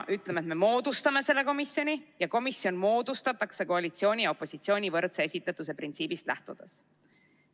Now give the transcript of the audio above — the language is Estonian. Ütleme, et me moodustame selle komisjoni ja komisjon moodustatakse koalitsiooni ja opositsiooni võrdse esindatuse printsiibist lähtudes.